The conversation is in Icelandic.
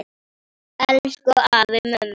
Elsku afi Mummi.